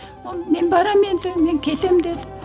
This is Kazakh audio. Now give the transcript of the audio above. ол мен барамын енді мен кетемін деді